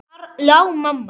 Þar lá mamma.